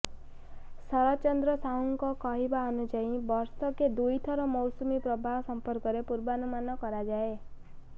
ଶରତ ଚନ୍ଦ୍ର ସାହୁଙ୍କ କହିବା ଅନୁଯାୟୀ ବର୍ଷକେ ଦୁଇଥର ମୌସୁମୀ ପ୍ରବାହ ସମ୍ପର୍କରେ ପୂର୍ବାନୁମାନ କରାଯାଏ